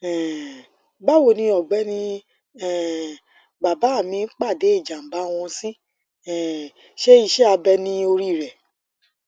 um bawoni ọgbẹni um bàbá mi pàdé ìjàmbá wọn sì um ṣe iṣẹ abẹ ní orí rẹ